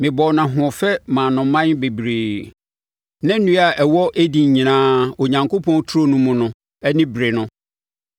Mebɔɔ no ahoɔfɛ maa no mman bebree, na nnua a ɛwɔ Eden nyinaa Onyankopɔn turo no mu no ani beree no.